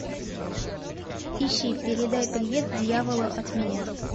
ищи передай привет дьяволу от меня